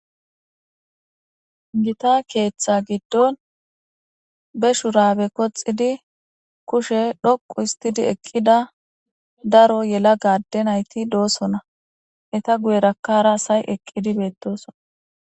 gita keeththa giddon be shurabe koxidi kushe dhoqu histidi eqqida daro yela gadde nayti doosona eta guyerakara asay eqqidi beettosona.